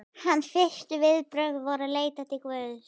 Hans fyrstu viðbrögð voru að leita til Guðs.